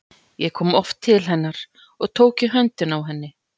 Ég kom oft til hennar og tók í höndina á henni.